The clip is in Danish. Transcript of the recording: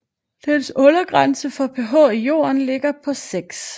Dens undergrænse for pH i jorden ligger på 6